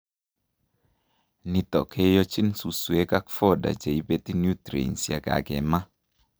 Nito keochin suswek ak fodder cheibeti nutrients yekakima